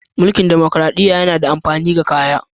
Munkil damakaraɗiya yana da amafini ga kaya.